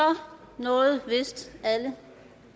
nåede vist alle